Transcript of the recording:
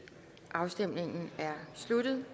afstemningen er sluttet